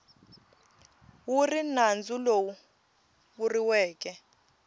wu ri nandzu lowu vuriweke